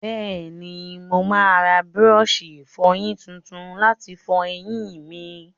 Bẹ́ẹ̀ni, mo máa ra búrọ́ọ̀ṣì ìfọyín tuntun láti fọyín mi.